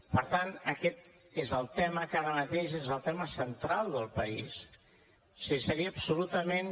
per tant aquest és el tema que ara mateix és el tema central del país o sigui seria absolutament